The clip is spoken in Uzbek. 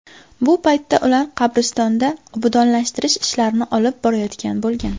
Bu paytda ular qabristonda obodonlashtirish ishlarini olib borayotgan bo‘lgan.